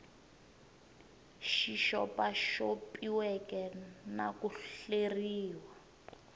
xi xopaxopiweke na ku hleriw